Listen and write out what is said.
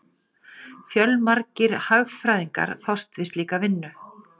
Fjölmargir hagfræðingar fást við slíka vinnu.